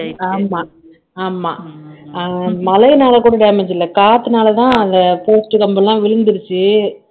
ஆமா ஆமா மழைனால கூட damage இல்ல காத்துனால தான் அத post கம்பு எல்லாம் விழுந்துருச்சு